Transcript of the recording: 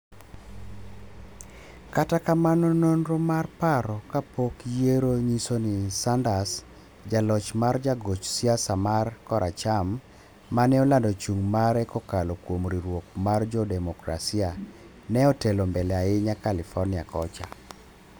kata kamano nonro mar paro kapok yieyo nyiso ni Sanders, ja loch mar jagoch siasa mar koracham maneolando chung mare kokalo kuom riwruok mar jo Demokrasia, ne otelo mbele ahinya California kocha.